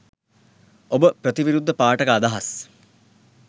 ඔබ ප්‍රතිවිරුද්ධ පාඨක අදහස්